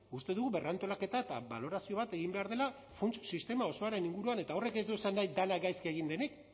uste dugu berrantolaketa eta balorazio bat egin behar dela funts sistema osoaren inguruan eta horrek ez du esan nahi dena gaizki egin denik